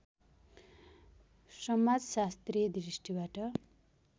समाजशास्त्रीय दृष्टिबाट